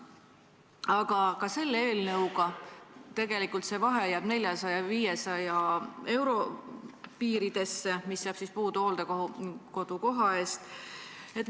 Aga ka selle eelnõuga jääb tegelikult see vahe 400–500 euro piiridesse, see raha jääb puudu hooldekodukoha maksmisest.